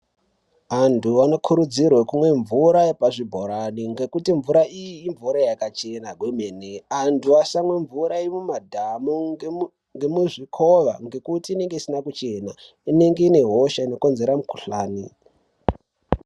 Anthu anokurudzirwe kumwe mvura yepazvibhorani ngekuti mvura iyi imvura yakachena kwemene, anthu asamwa mvura yemumadhamu ngemuzvikova ngekuti inenge isina kuchena, inenge ine hosha inokonzera mikuhlani.